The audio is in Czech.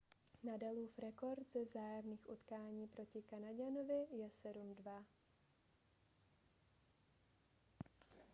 nadalův rekord ze vzájemných utkání proti kanaďanovi je 7-2